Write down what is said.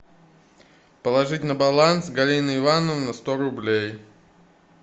положить на баланс галины ивановны сто рублей